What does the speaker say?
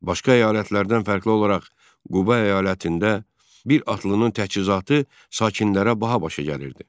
Başqa əyalətlərdən fərqli olaraq Quba əyalətində bir atlının təchizatı sakinlərə baha başa gəlirdi.